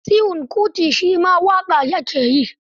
Seun Kuti shi ma waƙa ya ke yi.